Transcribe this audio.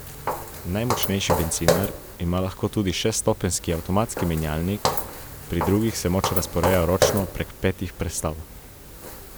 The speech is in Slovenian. Najmočnejši bencinar ima lahko tudi šeststopenjski avtomatski menjalnik, pri drugih se moč razporeja ročno prek petih prestav.